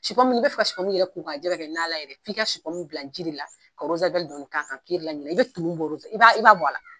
Si pɔmu ni bɛ fɛ ka si pomu yɛrɛ ko ka jɛ ka nana yɛrɛ, f'i ka si pomu bila ji de la ka dɔɔni ka kan ki yɛrɛ la ɲinɛ i bɛ tumu bɔro i ba i ba bɔ a la.